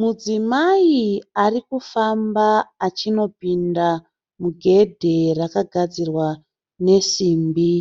Mudzimai arikufamba achinopinda mugedhe rakagadzirwa nesimbi.